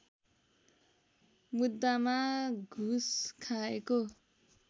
मुद्दामा घुस खाएको